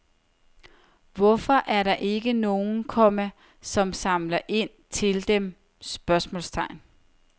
Hvorfor er der ikke nogen, komma som samler ind til dem? spørgsmålstegn